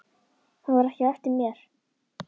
Hann var ekki á eftir mér.